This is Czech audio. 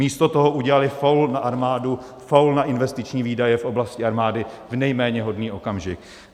Místo toho udělali faul na armádu, faul na investiční výdaje v oblasti armády v nejméně vhodný okamžik.